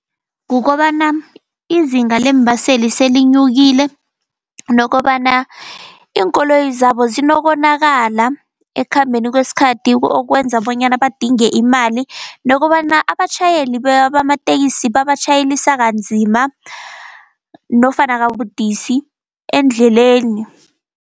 Kukobana izinga leembaseli selinyukile. Nokobana iinkoloyi zabo zinokonakala ekukhambeni kweskhathi okwenza bonyana badinge imali. Nokobana abatjhayeli bamateksi, babatjhayelisa kanzima nofana kabudisi endleleni.